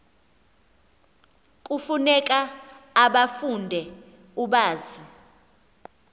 kufuneka ubafunde ubazi